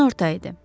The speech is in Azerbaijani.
Günorta idi.